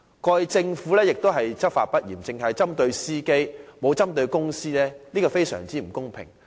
過去政府執法不嚴，只針對司機而沒有針對公司，實在非常不公平。